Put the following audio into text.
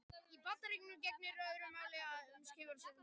Í Bandaríkjunum gegnir öðru máli um skipan sérstakra eða óháðra saksóknara.